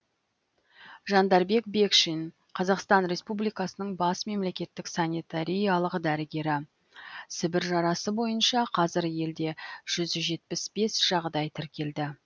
жандарбек бекшин қазақстан республикасының бас мемлекеттік санитариялық дәрігері сібір жарасы бойынша қазір елде жүз жетпіс бес жағдай тіркелді